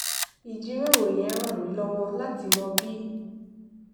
ìjíròrò yẹn ràn mí lówó láti mọ bí